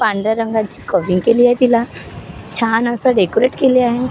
पांढऱ्या रंगाची कव्हरिंग केली आहे तिला छान अस डेकोरेट केले आहे.